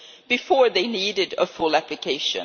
Before, they needed a full application.